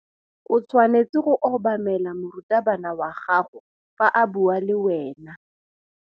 O tshwanetse go obamela morutabana wa gago fa a bua le wena.